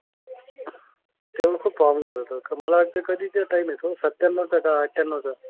तेव्हा खूप फोम लागत होता. मला वाटतं कधीचा टाईम आहे तो? सत्यानऊचा का अठ्यानऊचा?